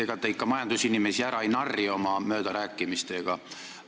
Ega te ikka majandusinimesi ära ei narri oma möödarääkimistega.